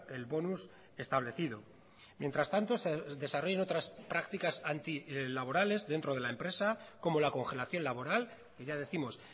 el bonus establecido mientras tanto se desarrollan otras prácticas antilaborales dentro de la empresa como la congelación laboral y ya décimos